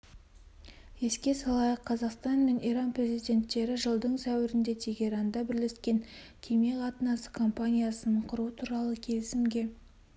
еске салайық қазақстан мен иран президенттері жылдың сәуірінде тегеранда бірлескен кеме қатынасы компаниясын құру туралы келісімге